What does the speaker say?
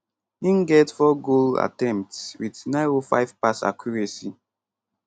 im get 4 goal attempts wit 905 pass accuracy